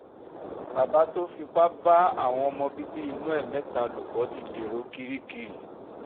bàbá tó fipá bá àwọn ọmọ bíbí inú ẹ̀ mẹ́ta lò pọ̀ ti dèrò kirikiri